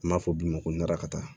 An b'a fɔ bi ma ko narakata